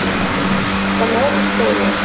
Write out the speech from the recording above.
канал история